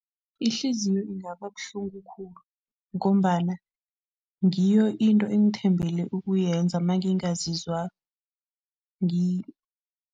Ihliziyo kungaba buhlungu khulu ngombana ngiyo into engithembele ukuyenza mangingazizwa